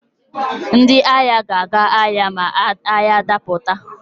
Ndị agha ga-aga agha ma agha dapụta.